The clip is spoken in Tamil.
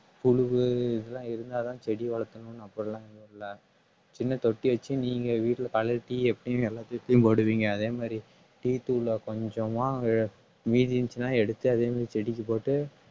புழுவு இதெல்லாம் இருந்தாதான் செடி வளத்தணும் அப்படி எல்லாம் ஒண்ணும் இல்லை சின்ன தொட்டி வச்சு நீங்க வீட்டுல பழைய tea எப்பயுமே போடுவீங்க அதே மாதிரி tea தூள்ல கொஞ்சமா அஹ் மீதி இருந்துச்சுன்னா எடுத்து அதே மாதிரி செடிக்கு போட்டு